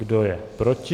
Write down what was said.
Kdo je proti?